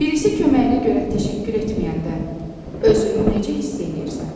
Birisi köməyinə görə təşəkkür etməyəndə özünü necə hiss eləyirsən?